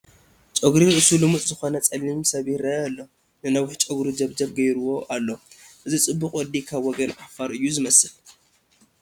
ጨጉሪ ርእሱ ልሙፅ ዝኾነ ፀሊም ሰብ ይርአ ኣሎ፡፡ ንነዊሕ ጨጉሩ ጀብጀብ ገይሩዎ ኣሎ፡፡ እዚ ፅቡቕ ወዲ ካብ ወገን ዓፋር እዩ ዝመስል፡፡